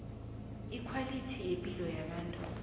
ikhwalithi yepilo yabantu